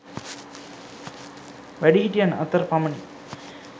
වැඩිහිටියන් අතර පමණි